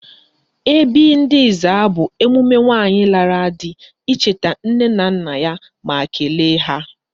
Ebị́ị̀ ndị Ezza bụ emume nwaanyị lara di icheta nne na nna ya ma kelee ha.